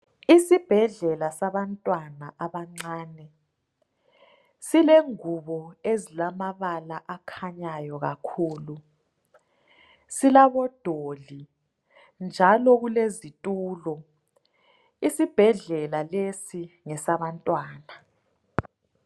Isibhedlela sabantwana abancane silengubo ezilamabala akhanyayo kakhulu. Silabodoli njalo kulezitulo. Isibhedlela lesi ngesabantwana.